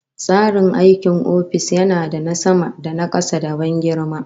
Tsarin aikin ofis yana da na sama da na kasa, da ban girma